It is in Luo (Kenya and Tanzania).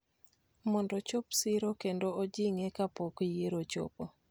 mondo ochop siro kendo ojing�e kapok yiero ochopo.